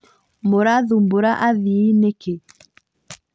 Mũrathumbũra athii nĩkĩ